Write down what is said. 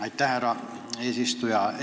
Aitäh, härra eesistuja!